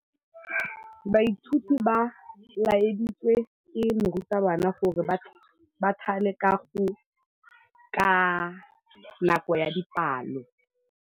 Baithuti ba laeditswe ke morutabana gore ba thale kagô ka nako ya dipalô.